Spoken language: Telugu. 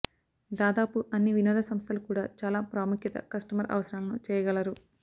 దాదాపు అన్ని వినోద సంస్థలు కూడా చాలా ప్రాముఖ్యత కస్టమర్ అవసరాలను చేయగలరు